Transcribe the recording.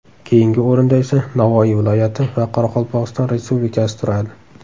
Keyingi o‘rinda esa Navoiy viloyati va Qoraqalpog‘iston Respublikasi turadi.